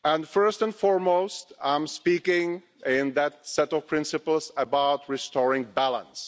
First and foremost, I speak in that set of principles about restoring balance.